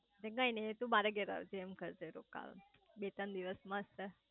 તે કઈ નાઈ તું મારા ઘરે આવજે રોકવા બે ત્રણ દિવસ રોકવા